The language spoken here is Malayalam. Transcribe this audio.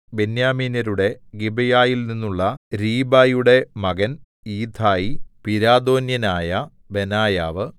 ബെന്യാമീന്യരുടെ ഗിബെയയിൽനിന്നുള്ള രീബായിയുടെ മകൻ ഈഥായി പിരാഥോന്യനായ ബെനായാവ്